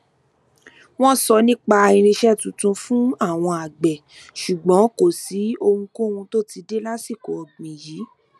wọn sọ nipa irinṣẹ tuntun fun àwọn agbe ṣùgbọn kò sí ohunkóhun tó ti dé lásìkò ọgbìn yìí